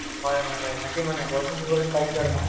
হয় হয় তাকেই মানে বৰষূণ দিব যেন পাইছোঁ আৰু মই